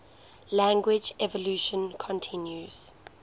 language evolution continues